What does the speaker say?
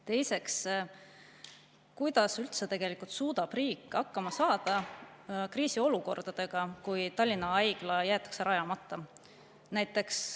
Teiseks, kuidas üldse tegelikult suudab riik hakkama saada kriisiolukordades, kui Tallinna Haigla jäetakse rajamata?